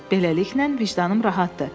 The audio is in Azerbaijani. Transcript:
Beləliklə, vicdanım rahatdır.